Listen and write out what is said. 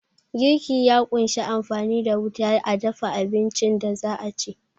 Girki ya kunshi amfani da wuta a dafa abincin da za'a ci